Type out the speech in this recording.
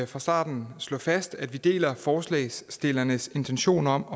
fra starten slå fast at vi deler forslagsstillernes intention om